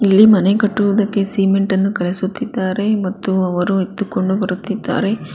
ಇಲ್ಲಿ ಮನೆ ಕಟ್ಟುವುದಕ್ಕೆ ಸಿಮೆಂಟ ನ್ನು ಕಲಸುತ್ತಿದ್ದಾರೆ ಮತ್ತು ಅವರು ಎತ್ತುಕೊಂಡು ಬರುತ್ತಿದ್ದಾರೆ.